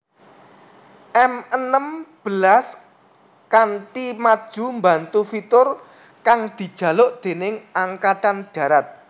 M enem belas kanti maju mbantu fitur kang dijaluk déning Angkatan Darat